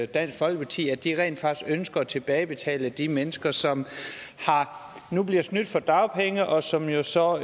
dansk folkeparti at de rent faktisk ønsker at tilbagebetale til de mennesker som nu bliver snydt for dagpenge og som jo så